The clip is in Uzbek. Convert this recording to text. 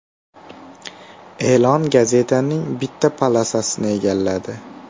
E’lon gazetaning bitta polosasini egalladi.